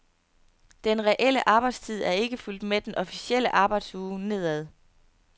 Den reelle arbejdstid er ikke fulgt med den officielle arbejdsuge nedad.